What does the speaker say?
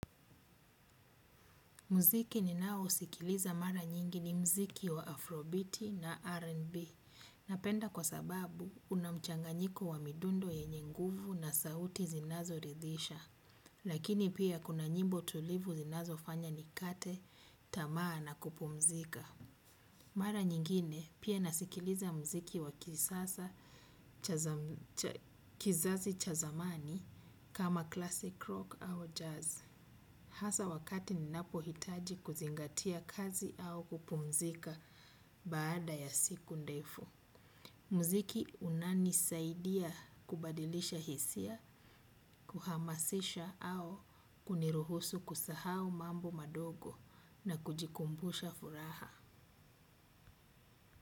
Mziki ninaousikiliza mara nyingi ni mziki wa afrobiti na R&B. Napenda kwa sababu unamchanganyiko wa midundo yenye nguvu na sauti zinazo ridhisha. Lakini pia kuna nyimbo tulivu zinazo fanya nikate, tamaa na kupumzika. Mara nyingine pia nasikiliza mziki wa kizazi cha zamani kama classic rock au jazz. Hasa wakati ninapo hitaji kuzingatia kazi au kupumzika baada ya siku ndefu. Mziki unani saidia kubadilisha hisia, kuhamasisha au kuniruhusu kusahau mambo madogo na kujikumbusha furaha.